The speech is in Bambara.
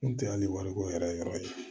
N kun tɛ hali wariko yɛrɛ yɔrɔ ye